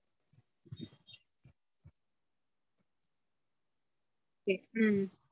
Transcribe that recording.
idli